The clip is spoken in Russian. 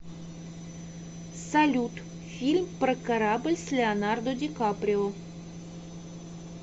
салют фильм про корабль с леонардо дикаприо